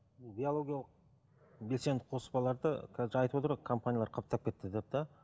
бұл биологиялық белсенді қоспаларды қазір айтып отыр ғой компаниялар қаптап кетті деп те